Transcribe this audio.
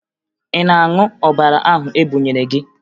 Ị na-aṅụ ọbara ahụ e bunyere gị?